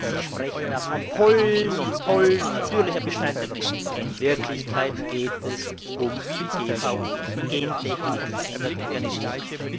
Sie sprechen da von Pollen und Pollen und natürlichen Bestandteilen. In Wirklichkeit geht es um die GVO, um gentechnisch veränderte Organismen.